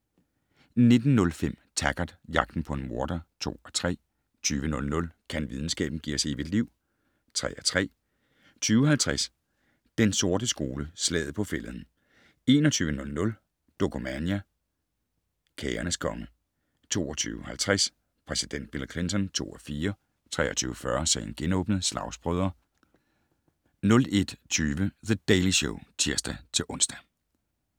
19:05: Taggart: Jagten på en morder (2:3) 20:00: Kan videnskaben - give os evigt liv? (3:3) 20:50: Den sorte skole: Slaget på Fælleden 21:00: Dokumania: Kagernes konge 22:50: Præsident Bill Clinton (2:4) 23:40: Sagen genåbnet: Slagsbrødre 01:20: The Daily Show (tir-ons)